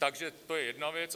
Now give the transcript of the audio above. Takže to je jedna věc.